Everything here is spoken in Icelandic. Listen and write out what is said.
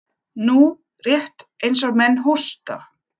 Nú, rétt eins og menn hósta.